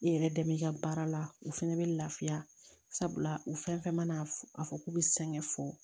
I yɛrɛ dɛmɛ i ka baara la u fɛnɛ bɛ lafiya sabula u fɛn fɛn mana f a fɔ k'u bɛ sɛgɛn fɔ